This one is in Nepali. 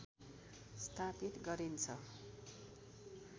स्थापित गरिन्छ